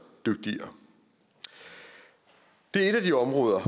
dygtigere det er et af de områder